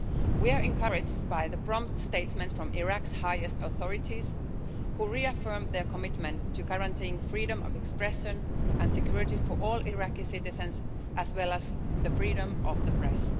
We are encouraged by the prompt statements from Iraq's highest authorities, who have reaffirmed their commitment to guaranteeing freedom of expression and security for all Iraqi citizens as well as the freedom of the press.